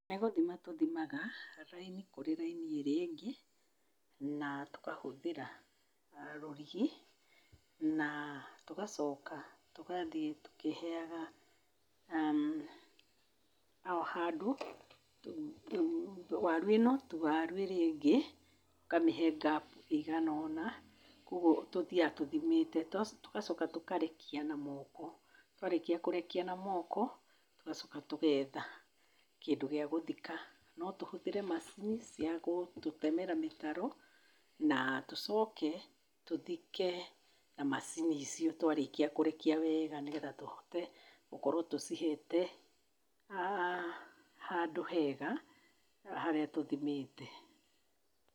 Nĩ gũthima tũthimaga raini kũrĩ raini ĩrĩa ĩngĩ, na tũkahũthĩra rũrigi na tũgacoka tũgaathiĩ tũkĩheaga o handũ waru ĩno to waru ĩrĩa ĩngĩ, ũkamĩhe gap ĩigana ũna, kwoguo tũthiaga tũthimĩte. Tũgacoka tũkarekia na moko, twarĩkia kũrekia na moko, tũgacoka tũgeetha kũndũ gĩa gũthika. No tũhũthĩre macini cia gũtũtemera mĩtaro na tũcoke tũthike na macini icio twarĩkia kũrekia wega nĩgetha tũhote gũkorwo tũcihete handũ hega harĩa tũthimĩte.